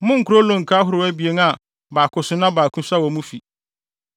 Monnkora olonka ahorow abien a baako so na baako su wɔ mo fi.